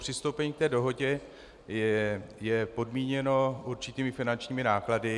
Přistoupení k té dohodě je podmíněno určitými finančními náklady.